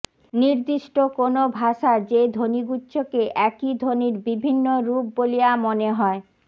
নির্দিষ্ট কোনো ভাষার যে ধ্বনিগুচ্ছকে একই ধ্বনির বিভিন্ন রূপ বলিয়া মনে হয়